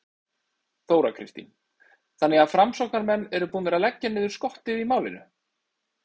Þóra Kristín: Þannig að framsóknarmenn eru búnir að leggja niður skottið í málinu?